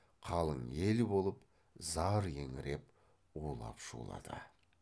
қалың ел болып зар еңіреп улап шулады